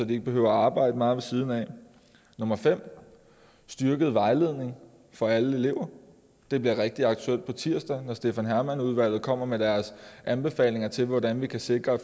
de ikke behøver at arbejde meget ved siden af nummer fem er styrket vejledning for alle elever det bliver rigtig aktuelt på tirsdag når stefan hermann udvalget kommer med deres anbefalinger til hvordan vi kan sikre at